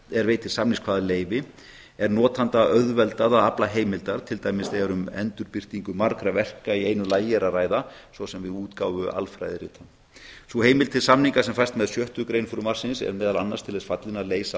er veitir samningskvaðaleyfi er notanda auðveldað að afla heimilda til dæmis þegar um endurbirtingu margra verka í einu lagi er að ræða svo sem við útgáfu alfræðirita sú heimild til samninga sem fæst með sjöttu grein frumvarpsins er meðal annars til þess falin að leysa